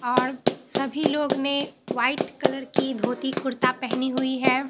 और सभी लोग ने व्हाइट कलर की धोती कुर्ता पहनी हुई है।